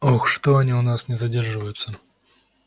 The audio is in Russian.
ох что-то они у нас не задерживаются